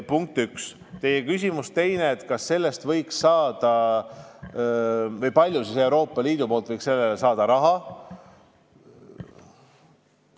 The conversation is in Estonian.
Teie teine küsimus oli, kui palju Euroopa Liidust võiks sellele raha saada.